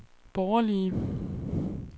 borgerlige